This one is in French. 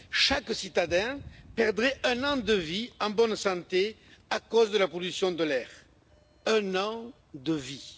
Chaque citadin perdrait un an de vie en bonne santé à cause de la pollution de l'air. Un an de vie!